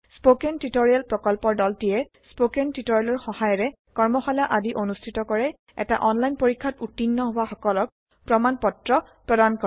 spoken tutorial প্ৰকল্পৰ দলটিয়ে spoken টিওটৰিয়েলৰ সহায়েৰে কৰ্মশালা আদি অনুষ্ঠিত কৰে এটা অনলাইন পৰীক্ষাত উত্তীৰ্ণ হোৱা সকলক প্ৰমাণ পত্ৰ প্ৰদান কৰে